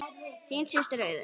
Þín systir, Auður.